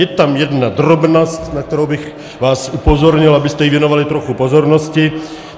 Je tam jedna drobnost, na kterou bych vás upozornil, abyste jí věnovali trochu pozornosti.